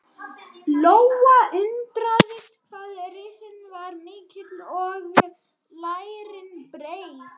Lóa undraðist hvað rassinn var mikill og lærin breið.